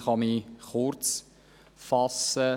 Ich kann mich kurz fassen.